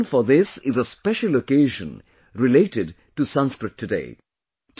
The reason for this is a special occasion related to Sanskrit today